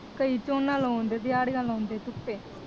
ਕਈ ਝੋਨਾ ਲਾਉਂਦੇ ਦਿਹਾੜੀਆਂ ਲਾਉਂਦੇ ਧੁੱਪੇ।